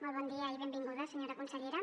molt bon dia i benvinguda senyora consellera